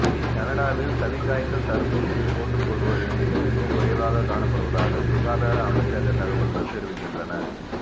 கனடாவில் சளிக்காய்ச்சல் தடுப்பூசியைப் போட்டுக்கொள்வோர் எண்ணிக்கை மிகவும் குறைவாக காணப்படுவதாக சுகாதார அமைச்சகத் தகவல்கள் தெரிவிக்கின்றன